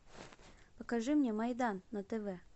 покажи мне майдан на тв